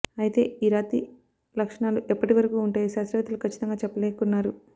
అయితే ఈ రాతి లక్షణాలు ఎప్పటి వరకు ఉంటాయో శాస్త్రవేత్తలు కచ్చితంగా చెప్పలేకున్నారు